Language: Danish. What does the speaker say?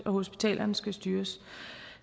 og hospitalerne skal styres